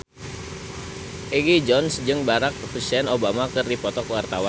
Egi John jeung Barack Hussein Obama keur dipoto ku wartawan